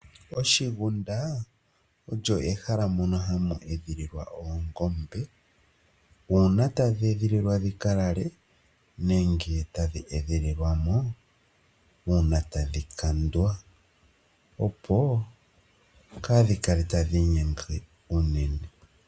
Oshigunda osho ehala mono hamu edhililwa oongombe, uuna tadhi edhililwa dhi ka lale, nenge tadhi edhililwa mo uuna tadhi kandwa, opo kaadhi kale tadhi inyenge unene.